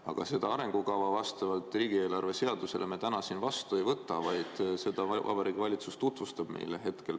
Aga seda arengukava vastavalt riigieelarve seadusele me täna siin vastu ei võta, vaid Vabariigi Valitsus tutvustab seda meile hetkel.